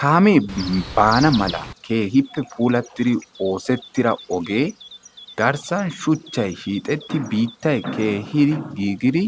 kaamee baan mala keehippe puullatidi oosettida ogee garssaan shuuchchay hiixxettidi biittay keehidi giigidi